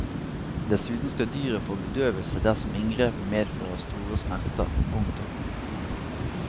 Dessuten skal dyret få bedøvelse dersom inngrepet medfører store smerter. punktum